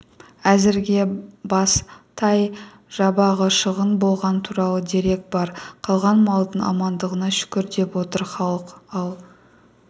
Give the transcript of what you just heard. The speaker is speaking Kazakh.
әзірге бас тай-жабағы шығын болғаны туралы дерек бар қалған малдың амандығына шүкір деп отыр халық ал